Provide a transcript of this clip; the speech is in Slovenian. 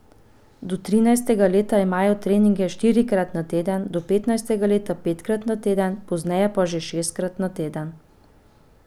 Do trinajstega leta imajo treninge štirikrat na teden, do petnajstega leta petkrat na teden, pozneje pa že šestkrat na teden.